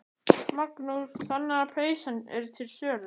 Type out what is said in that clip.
Magnús: Þannig að peysan er til sölu?